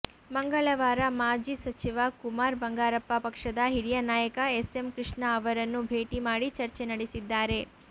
ಮಂಗಳವಾರ ಮಾಜಿ ಸಚಿವ ಕುಮಾರ್ ಬಂಗಾರಪ್ಪ ಪಕ್ಷದ ಹಿರಿಯ ನಾಯಕ ಎಸ್ಎಂ ಕೃಷ್ಣ ಅವರನ್ನು ಭೇಟಿ ಮಾಡಿ ಚರ್ಚೆ ನಡೆಸಿದ್ದಾರೆ